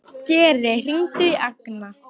Geri, hringdu í Agna.